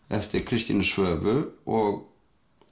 eftir Kristínu Svövu og